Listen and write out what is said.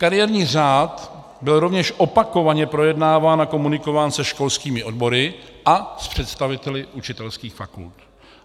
Kariérní řád byl rovněž opakovaně projednáván a komunikován se školskými odbory a s představiteli učitelských fakult.